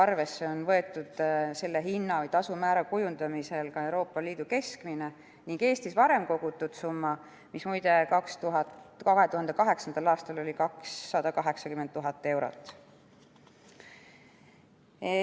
Samuti on selle hinna või tasumäära kujundamisel arvesse võetud Euroopa Liidu keskmine ning Eestis varem kogutud summa, mis näiteks 2008. aastal oli muide 280 000 eurot.